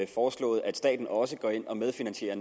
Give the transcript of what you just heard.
foreslået at staten også går ind og medfinansierer